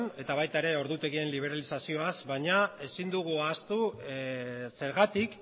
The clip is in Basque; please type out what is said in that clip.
eta baita ere ordutegien liberazioaz baina ezin dugu ahaztu zergatik